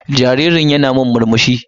Jaririn yana min murmsuhi.